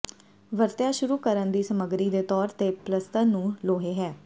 ਵਰਤਿਆ ਸ਼ੁਰੂ ਕਰਨ ਦੀ ਸਮੱਗਰੀ ਦੇ ਤੌਰ ਤੇ ਪਲੱਸਤਰ ਨੂੰ ਲੋਹੇ ਹੈ